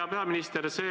Hea peaminister!